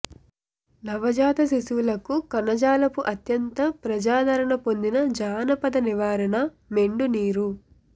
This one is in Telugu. నవజాత శిశువులకు కణజాలపు అత్యంత ప్రజాదరణ పొందిన జానపద నివారణ మెండు నీరు